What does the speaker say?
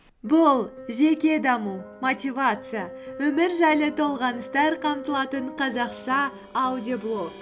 бұл жеке даму мотивация өмір жайлы толғаныстар қамтылатын қазақша аудиоблог